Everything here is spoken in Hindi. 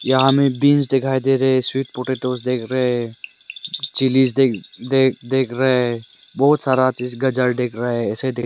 यहां हमें बींस दिखाई दे रहे है स्वीट पोटेटोज देख रहे है चिलीज देख देख देख रहा है बहुत सारा देख रहा है ऐसे देख--